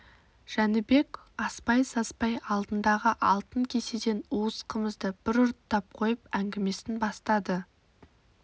жәнібек аспай-саспай алдындағы алтын кеседен уыз қымызды бір ұрттап қойып әңгімесін бастады